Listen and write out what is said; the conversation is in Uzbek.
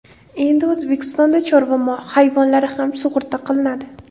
Endi O‘zbekistonda chorva hayvonlari ham sug‘urta qilinadi.